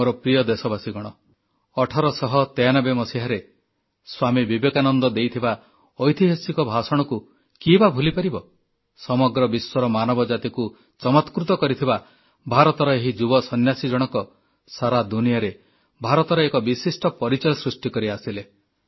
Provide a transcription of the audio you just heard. ମୋର ପ୍ରିୟ ଦେଶବାସୀଗଣ 1893 ମସିହାରେ ସ୍ୱାମୀ ବିବେକାନନ୍ଦ ଦେଇଥିବା ଐତିହାସିକ ଭାଷଣକୁ କିଏ ବା ଭୁଲିପାରିବ ସମଗ୍ର ବିଶ୍ୱର ମାନବ ଜାତିକୁ ଚମତ୍କୃତ କରିଥିବା ଭାରତର ଏହି ଯୁବ ସନ୍ନ୍ୟାସୀ ଜଣକ ସାରା ଦୁନିଆରେ ଭାରତର ଏକ ବିଶିଷ୍ଟ ପରିଚୟ ସୃଷ୍ଟିକରି ଆସିଲେ